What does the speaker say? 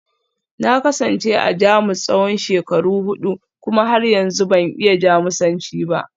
Na kasance a Jamus tsawon shekaru hudu kuma har yanzu ban iya Jamusanci ba